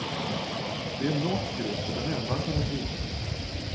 Det är en norsk grupp och den enda han känner till.